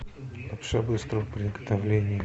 лапша быстрого приготовления